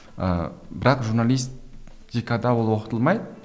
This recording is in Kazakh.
ыыы бірақ журналистикада ол оқытылмайды